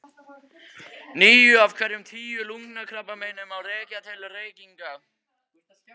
Níu af hverjum tíu lungnakrabbameinum má rekja til reykinga.